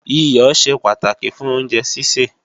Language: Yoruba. Iyọ̀ ṣe pàtàkì fún oúnjẹ sísè